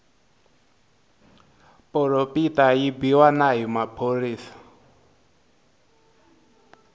poropita yi biwa na hi maphorisa